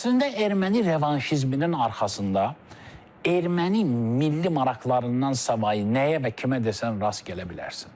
Əslində erməni revanşizminin arxasında erməni milli maraqlarından savayı nəyə və kimə desən rast gələ bilərsən.